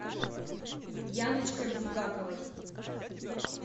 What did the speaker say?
яночкой булгаковой